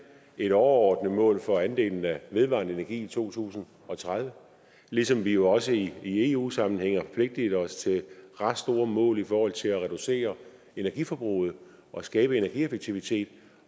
et overordnet mål for andelen af vedvarende energi i to tusind og tredive ligesom vi jo også i eu sammenhæng har forpligtet os til ret store mål i forhold til at reducere energiforbruget og skabe energieffektivitet